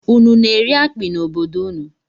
Ụnụ na-eri akpi n'obodo ụnụ?